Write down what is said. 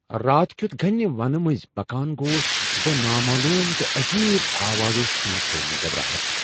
راتھ كِیُت گھنہِ ونہٕ منز پكان گوس بہٕ نامعلوم تہٕ عجیب آوازو سٕتۍ گیہ مےٚ گبھراہٹ ۔